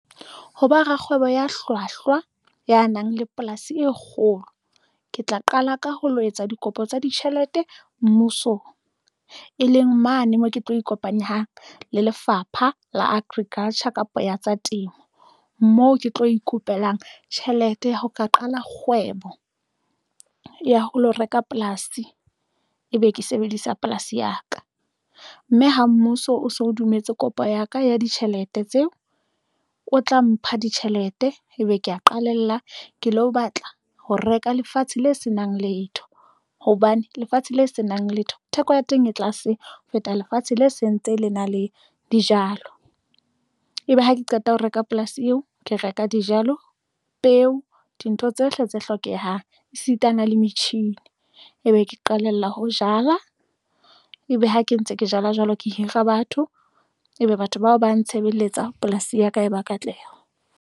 Ho ba rakgwebo ya hlwahlwa ya nang le polasi e kgolo, ke tla qala ka ho lo etsa dikopo tsa ditjhelete mmusong, e leng mane moo ke tlo ikopanya le Lefapha la Agriculture kapa ya tsa temo, moo ke tlo ikopelang tjhelete ya ho ka qala kgwebo ya ho lo reka polasi, ebe ke sebedisa polasi ya ka, mme ha mmuso o so dumetse kopo ya ka ya ditjhelete tseo o tla mpha ditjhelete, ebe ke ya qalella ke lo batla ho reka lefatshe le senang letho hobane lefatshe le senang letho theko ya teng e tlase ho feta lefatshe le sentse le na le dijalo, ebe ha ke qeta ho reka polasi eo, ke reka dijalo, peo, dintho tsohle tse hlokehang esitana le metjhini e be ke qalella ho jala, ebe ha ke ntse ke jala jwalo ke hira batho ebe batho bao ba ntshebeletsa polasi ya ka e ba katleho.